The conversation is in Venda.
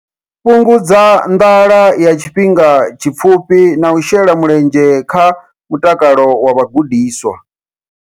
Fhungudza nḓala ya tshifhinga tshipfufhi na u shela mulenzhe kha mutakalo wa vhagudiswa.